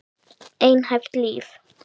Einhæft líf.